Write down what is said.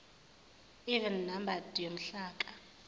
even numbered yomhlaka